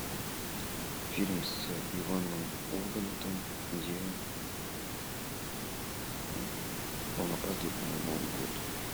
фильм с иваном ургантом где он опаздывает на новый год